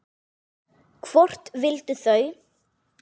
Hvort vildu þau?